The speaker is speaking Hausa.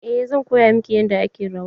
Eh zan koya miki yadda ake rawa.